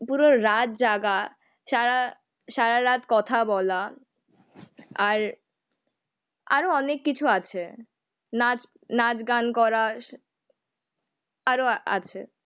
পুরো রাতজাগা সারা সারা রাত কথা বলা, আর আরো অনেক কিছু আছে নাচ, নাচগান করা আরো আছে